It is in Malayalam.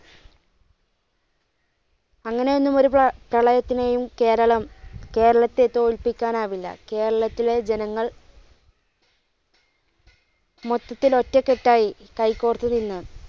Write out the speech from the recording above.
അങ്ങനെ ഒന്നും ഒരു പ്ര പ്രളയത്തിനെയും കേരളം കേരളത്തെ തോല്പിക്കാൻ ആകില്ല. കേരളത്തിലെ ജനങ്ങൾ മൊത്തത്തിൽ ഒറ്റ കെട്ടായി കൈകോർത്ത് നിന്നു.